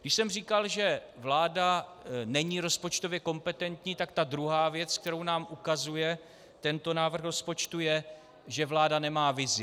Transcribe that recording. Když jsem říkal, že vláda není rozpočtově kompetentní, tak ta druhá věc, kterou nám ukazuje tento návrh rozpočtu, je, že vláda nemá vizi.